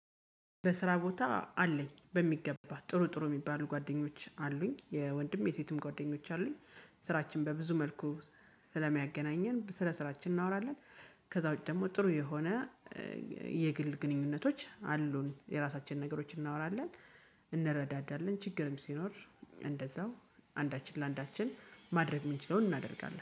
በስራ ቦታ አለኝ በሚገባ ጥሩ ጥሩ የሚባሉ ጓደኞች አሉኝ የወንድም የሴትም ጓደኞች አሉኝ። ስራችን በብዙ መልኩ ስለሚያገናኘን ስለ ስራችን እናወራለን። ከዛ ውጪ ደግሞ ጥሩ የሆነ የግል ግንኙነቶች አሉን የራሳችን ነገሮችን እናወራለን። እንረዳዳለን ችግርም ሲኖር እንደዛው አንዳችን ለአንዳችን ማድረግ የምንችለውን እናደርጋለን